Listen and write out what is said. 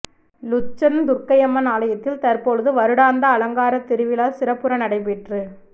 Lucerne Durgaiamman ஆலயத்தில் தற்பொழுது வருடாந்த அலங்காரத் திருவிழா சிறப்புற நடைபெற்றுக்